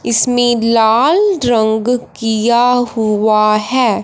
इसमें लाल रंग किया हुआ है।